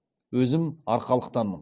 өзім арқалықтанмын